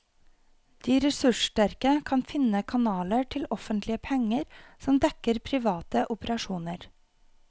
De ressurssterke kan finne kanaler til offentlige penger som dekker private operasjoner.